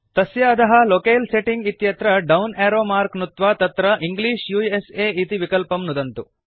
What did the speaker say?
तस्य अधः locale setting इत्यत्र डौन् एरो मार्क् नुत्वा तत्र इंग्लिश उस इति विकल्पं नुदन्तु